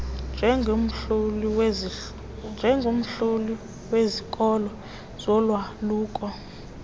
njengomhloli wezikolo zolwaluko